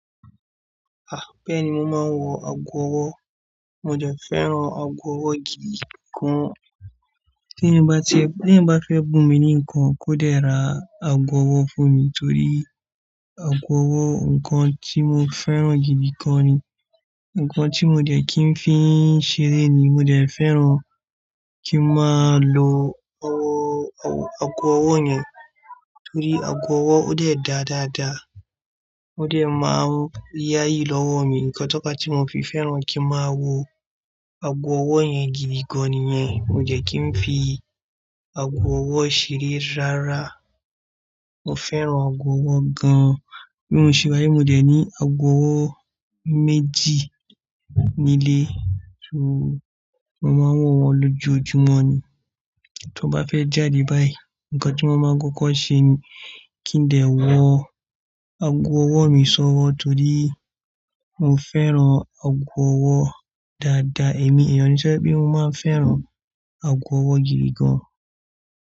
Bẹ́ẹ̀ni mo máa ń wọ ago ọwọ́, mo dẹ̀ fẹ́ràn ago ọwọ́ gidi gan. T'éèyàn bá ti ẹ̀, b'éèyàn bá fẹ́ bùn mi ní nǹkan, kó dẹ̀ ra ago ọwọ́ fún mi torí ago ọwọ́ nǹkan tí mo fẹ́ràn gidi gan ni Nǹkan tí mo dẹ̀ ki ń fi ń ṣeré ni, mo dẹ̀ fẹ́ràn kí n máa lo ọwọ́, ago ọwọ́ yẹn torí ago ọwọ́ ó dẹ̀ dáa dáadáa, ó dẹ̀ máa ń yáyì l'ọ́wọ́ mi, nǹkan tó fàá tí mo fi fẹ́ràn kí n máa wọ ago ọwọ́ yẹn gidi gan nìyẹn. Mo dẹ̀ kí ń fi ago ọwọ́ ṣeré rárá. Mo fẹ́ràn ago ọwọ́ gan. Bí mo ṣe wà yí, mo dẹ̀ ní ago ọwọ́ méjì nílé, mo máa ń wọ̀ wọ́n l'ójoojúmọ́ ni. Tó bá fẹ́ jáde báyìí, nǹkan tí mo máa ń kọ́kọ́ ṣe ni kí n dẹ̀ wọ ago ọwọ́ mi sọ́wọ́ torí mo fẹ́ran ago ọwọ́ dáadáa. Èmi ènìyàn tó jẹ́ pé, mo máa ń fẹ́ràn ago ọwọ́ gidi gan.